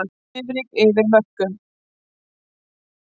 Svifryk yfir mörkum